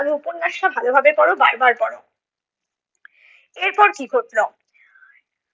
আর উপন্যাসটা ভালোভাবে করো, বারবার পড়ো, এরপর কী ঘটলো?